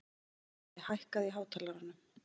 Svali, hækkaðu í hátalaranum.